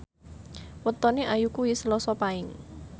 wetone Ayu kuwi Selasa Paing